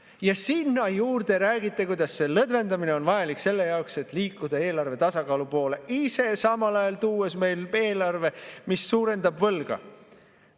Ja sinna juurde räägite, kuidas see lõdvendamine on vajalik selle jaoks, et liikuda eelarvetasakaalu poole, ise samal ajal tuues meile eelarve, mis suurendab võlga.